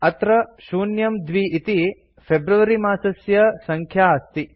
अत्र 02 इति फेब्रुअरी मासस्य सङ्ख्या अस्ति